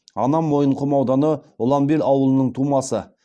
анам мойынқұм ауданы ұланбел ауылының тумасы